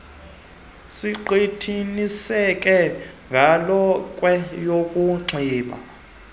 siqiniseke ngelokhwe yokunxiba